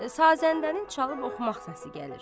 Sazəndənin çalıb-oxumaq səsi gəlir.